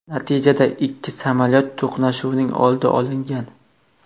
Natijada ikki samolyot to‘qnashuvining oldi olingan.